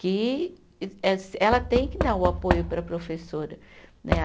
Que eh ela tem que dar o apoio para a professora né.